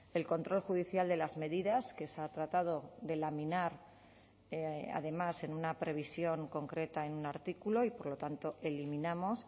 el control judicial de las medidas que se ha tratado de laminar además en una previsión concreta en un artículo y por lo tanto eliminamos